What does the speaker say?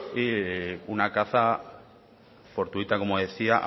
y una caza fortuita como decía